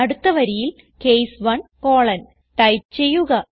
അടുത്ത വരിയിൽ case 1 colon type ചെയ്യുക